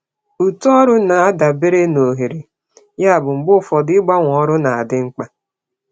Uto ọrụ na-adabere na ohere, yabụ mgbe ụfọdụ ịgbanwe ọrụ na-adị mkpa.